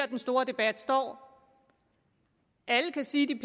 den store debat står alle kan sige de